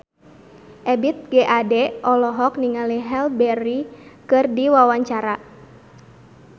Ebith G. Ade olohok ningali Halle Berry keur diwawancara